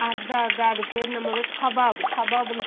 அதா அதா அது பெயர் எண்ணமே kebab kabab ன்னு